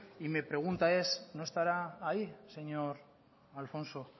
y me pregunta es no estará ahí señor alfonso